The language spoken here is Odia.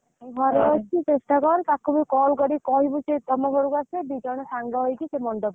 ଘରେଅଛି ଚେଷ୍ଟା କର ଟାକୁ ବି call କି କହିବୁ ଶିରେ ତମ ଘରକୁ ଆସିବେ ଦିଜଣ ସାଙ୍ଗହେଇକି ମଣ୍ଡପ କୁ ଯିବ।